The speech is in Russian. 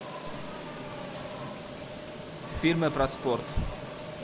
фильмы про спорт